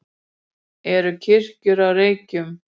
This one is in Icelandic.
eru kirkjur á reykjum